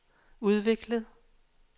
udviklet